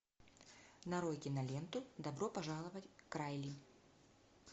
нарой киноленту добро пожаловать к райли